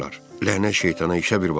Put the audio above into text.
Lənət şeytana işə bir bax!